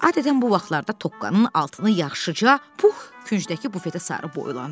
Adətən bu vaxtlarda Toqqanın altını yaxşıca Pux küncdəki bufetə sarı boylandı.